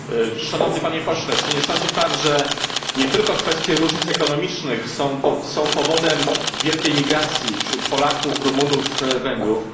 Panie Przewodniczący! Szanowny Panie Pośle, czy nie sądzi Pan, że nie tylko kwestie różnic ekonomicznych są powodem wielkiej migracji wśród Polaków, Rumunów i Węgrów?